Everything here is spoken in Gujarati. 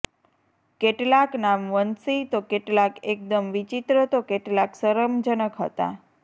કેટલાક નામ વંશીય તો કેટલાક એકદમ વિચિત્ર તો કેટલાક શરમજનક હતા